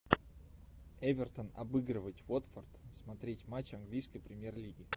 эвертон обыгрывать уотфорд смотреть матч английской премьер лиги